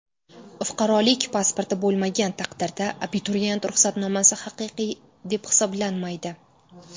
Fuqarolik pasporti bo‘lmagan taqdirda abituriyent ruxsatnomasi haqiqiy deb hisoblanmaydi.